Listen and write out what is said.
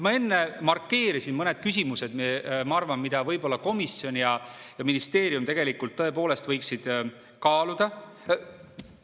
Ma enne markeerisin mõned küsimused, mida komisjon ja ministeerium tegelikult tõepoolest võiksid kaaluda.